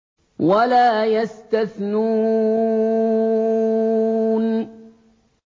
وَلَا يَسْتَثْنُونَ